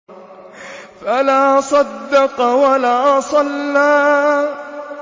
فَلَا صَدَّقَ وَلَا صَلَّىٰ